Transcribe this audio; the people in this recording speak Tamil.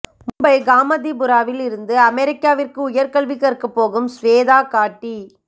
மும்பை காமதிபுராவில் இருந்து அமெரிக்காவிற்கு உயர்கல்வி கற்க போகும் ஸ்வேதா காட்டி